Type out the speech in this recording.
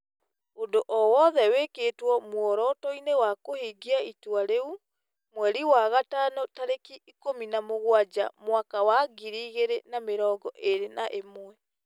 ũndũ o wothe wĩkĩtwo mworoto-inĩ wa kũhingia itua rĩu, mweri wa gatano tarĩki ikũmi na mũgwanja mwaka wa ngiri igĩrĩ na mĩrongo ĩrĩ na ĩmwe ,